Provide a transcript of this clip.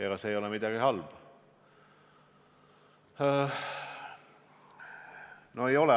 Aga selles ei ole midagi halba.